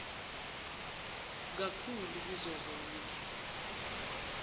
kak hulu kuzozonke